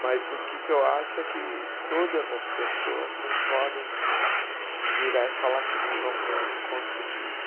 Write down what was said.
Mas o que que eu acho é que todas as pessoas não podem virar e falar que não vão conhe conseguir.